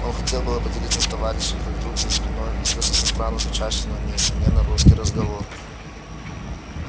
он хотел было поделиться с товарищем как вдруг за спиной послышался странно звучащий но несомненно русский разговор